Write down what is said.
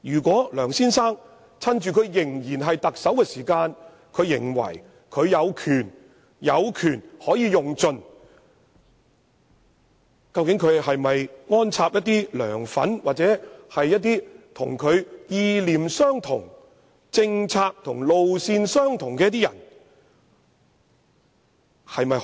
梁先生會否在自己仍擔任特首之位時，以為可有權盡用，而安插一些"梁粉"或與他意念、政策及路線相同的人進入這些組織？